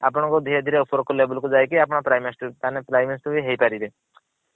ଆପଣ ଧିରେ ଧିରେ ଉପର label କୁ ବି ଯାଇକି ଆପଣ prime minister ବି ହେଇ ପାରିବେ।